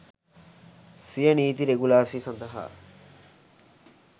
සිය නීති රෙගුලාසි සඳහා